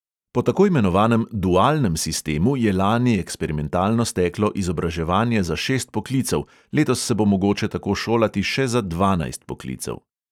Po tako imenovanem dualnem sistemu je lani eksperimentalno steklo izobraževanje za šest poklicev, letos se bo mogoče tako šolati še za dvanajst poklicev.